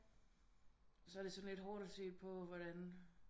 Så er det sådan lidt hårdt at se på hvordan